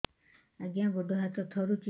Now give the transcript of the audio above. ଆଜ୍ଞା ଗୋଡ଼ ହାତ ଥରୁଛି